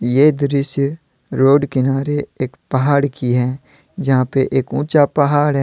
ये दृश्य रोड किनारे एक पहाड़ की हैं जहां पे एक ऊंचा पहाड़ है।